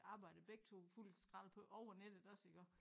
Arbejdede begge 2 fuld skrald på over nettet også iggå